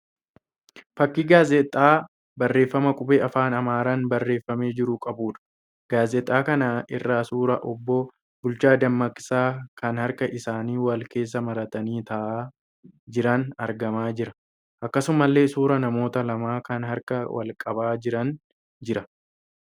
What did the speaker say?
Fakkii gaazixaa barreeffama qubee afaan Amaaraan barreeffamee jiru qabuudha. Gaazixaa kana irra suuraa obbo Bulchaa Dammaqsaa kan harka isaanii wal keessa maratanii ta'aa jiran argamaa jira. Akkasumallee suuraan namoota lamaa kan harka wal qabaa jiranii jira.